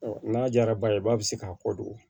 n'a diyara ba ye i b'a se k'a kɔ don